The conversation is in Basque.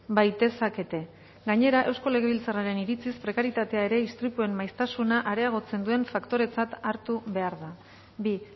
baitezakete gainera eusko legebiltzarren iritziz prekarietatea ere istripuen maiztasuna areagotzen duen faktoretzat hartu behar da bi